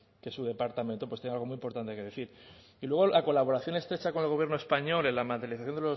que su departamento pues tenga algo muy importante que decir y luego la colaboración estrecha con el gobierno español en la materialización